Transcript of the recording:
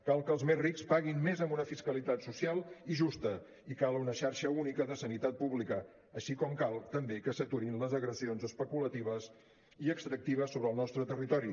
cal que els més rics paguin més amb una fiscalitat social i justa i cal una xarxa única de sanitat pública així com cal també que s’aturin les agressions especulatives i extractives sobre el nostre territori